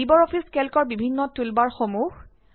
Libre office কেল্কৰ বিভিন্ন টুলবাৰসমূহ